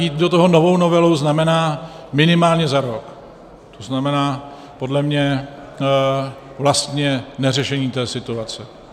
Jít do toho novou novelou znamená minimálně za rok, to znamená podle mě vlastně neřešení té situace.